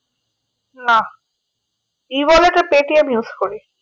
না ই বলে তো Paytm use করি